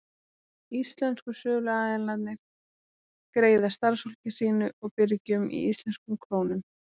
Íslensku söluaðilarnir greiða starfsfólki sínu og birgjum í íslenskum krónum.